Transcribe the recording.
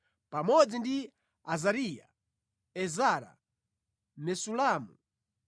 pamodzi ndi Azariya, Ezara, Mesulamu,